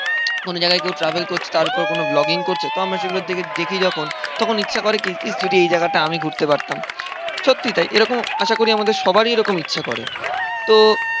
কোন জায়গায় কেউ ট্রাভেল করছে তার ওপরে কোন ব্লগিং করছে, তো আমরা সেগুলো থেকে দেখি যখন, তখন ইচ্ছা করে কি? যদি এই জায়গাটা আমি ঘুরতে পারতাম। সত্যি তাই এরকম আশা করি আমাদের সবারই এরকম ইচ্ছা করে। তো